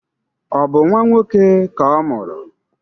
Ọ bụ nnwa nwoke ka ọ mụrụ?